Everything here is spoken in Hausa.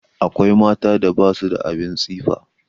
Akwai mata da ba su da abin tsifa.